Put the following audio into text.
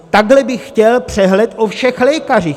Takhle bych chtěl přehled o všech lékařích.